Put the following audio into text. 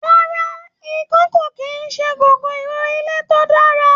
Ràrá, ikan ko kìí ṣe kòkòrò ilé to dára.